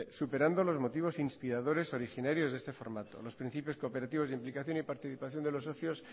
superando los motivos inspiradores originarios de este formato los principios cooperativos de implicación y participación de los socios